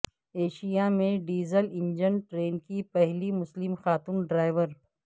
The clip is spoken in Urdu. ایشیا میں ڈیزل انجن ٹرین کی پہلی مسلم خاتون ڈرائیور